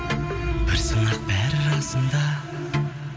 бір сынақ бәрі расында